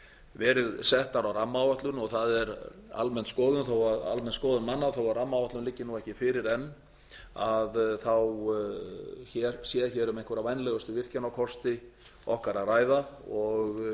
verið settar á rammaáætlun og það er almenn skoðun manna þó að rammaáætlun liggi ekki fyrir enn þá sé hér um einhverja vænlegustu virkjanakosti okkar að ræða og